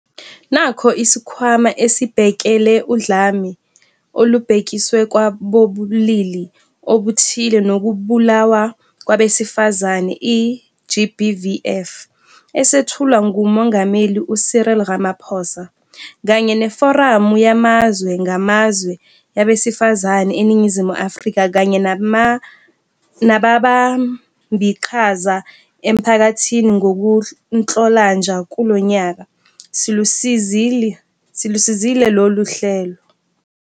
Nakho, iSikhwama Esibhekele Udlame Olubhekiswe kwabobulili Obuthile Nokubulawa Kwabesifazane, i-GBVF, esethulwa nguMongameli u-Cyril Ramaphosa, kanye neForamu Yamazwe Ngamazwe Yabesifazane eNingizimu Afrika kanye nababambiqhaza emphakathini ngoNhlolanja kulo nyaka, silusizile lolu hlelo.